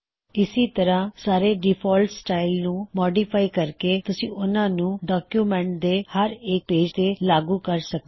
ਇਸੀ ਤਰ੍ਹਾ ਸਾਰੇ ਡਿਫਾਲਟ ਸਟਾਇਲਜ਼ ਨੂੰ ਮੌਡਿਫਾਈ ਕਰਕੇ ਤੁਸੀ ਉਹਨਾ ਨੂੰ ਡੌਕਯੁਮੈੱਨਟ ਦੇ ਹਰ ਇੱਕ ਪੇਜ ਤੇ ਲਾਗੁ ਕਰ ਸਕਦੇ ਹੋਂ